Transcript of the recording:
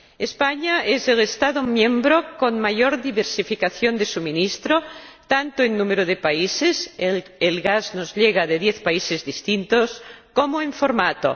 España es el Estado miembro con mayor diversificación de abastecimiento tanto en número de países, el gas nos llega de 10 países distintos, como en formato.